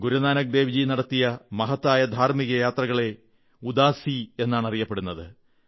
ഗുരുനാനക് ദേവ് ജീ നടത്തിയ മഹത്തായ ധാർമ്മിക യാത്രകളെ ഉദാസി എന്നാണ് പറയപ്പെടുന്നത്